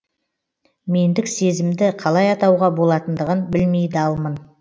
мендік сезімді қалай атауға болатындығын білмей далмын